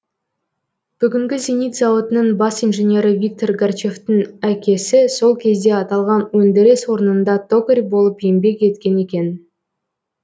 бүгінгі зенит зауытының бас инженері виктор гарчевтің әкесі сол кезде аталған өндіріс орнында токарь болып еңбек еткен екен